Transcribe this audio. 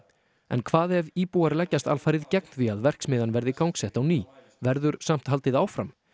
en hvað ef íbúar leggjast alfarið gegn því að verksmiðjan verði gangsett á ný verður samt haldið áfram